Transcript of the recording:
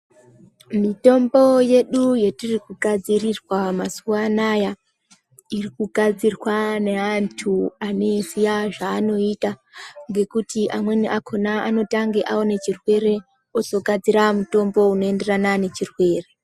Mitombo yedu yetiri kugadzirirwa mazuwanaya irikugadzirwa nge antu anoziya zvaanoita ngekuti amweni akhona anotange aone chirwere ozogadzira mitombo inoenderana nechirwere.